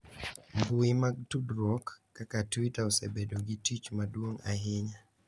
Mbui mag tudruok kaka Twitter osebedo gi tich maduong' ahinya